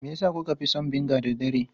Me yasa kuka fi son vinegar da dare?